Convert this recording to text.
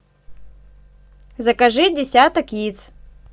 закажи десяток яиц